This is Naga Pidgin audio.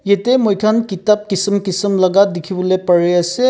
yetey moi khan kitab kisim kisim laga dikhi bole pari ase.